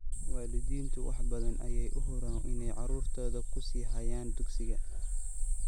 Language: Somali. Waalidiintu wax badan ayay u huraan inay carruurtooda ku sii hayaan dugsiga.